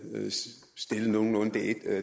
at